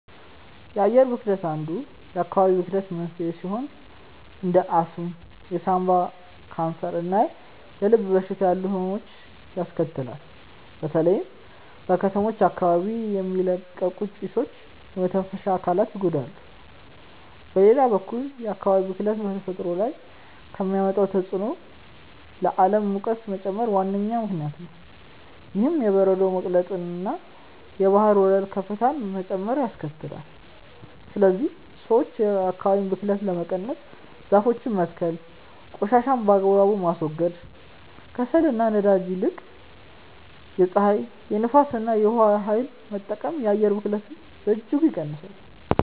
የአየር ብክለት አንዱ የአካባቢ ብክለት መንስኤ ሲሆን እንደ አስም፣ የሳምባ ካንሰር እና የልብ በሽታ ያሉ ህመሞችን ያስከትላል። በተለይም በከተሞች አካባቢ የሚለቀቁ ጭሶች የመተንፈሻ አካላትን ይጎዳሉ። በሌላ በኩል የአካባቢ ብክለት በተፈጥሮ ላይ ከሚያመጣው ተጽዕኖ ለዓለም ሙቀት መጨመር ዋነኛ ምክንያት ነው። ይህም የበረዶ መቅለጥንና የባህር ወለል ከፍታ መጨመርን ያስከትላል። ስለዚህ ሰዎች የአካባቢን ብክለት ለመቀነስ ዛፎችን መትከል ቆሻሻን በአግባቡ ማስወገድ፣ ከከሰልና ከነዳጅ ይልቅ የፀሐይ፣ የንፋስ እና የውሃ ኃይልን መጠቀም የአየር ብክለትን በእጅጉ ይቀንሳል።